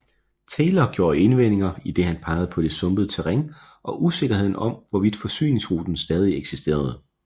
Taylor gjorde indvendinger idet han pegede på det sumpede terræn og usikkerheden om hvorvidt forsyningsruten stadig eksisterende